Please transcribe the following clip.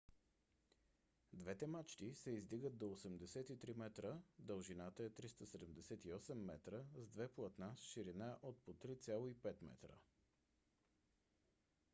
двете мачти се издигат до 83 метра дължината е 378 метра с 2 платна с ширина от по 3,50 метра